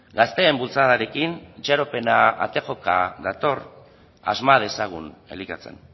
gazteen bultzadarekin itxaropena ate joka dator asma dezagun elikatzen